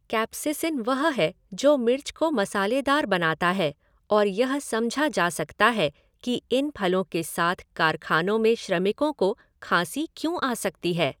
Capsaicin वह है जो मिर्च को मसालेदार बनाता है और यह समझा जा सकता है कि इन फलों के साथ कारखानों में श्रमिकों को खाँसी क्यों आ सकती है।